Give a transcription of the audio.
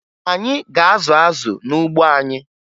Anyị ga-azụ azụ n'ugbo anyị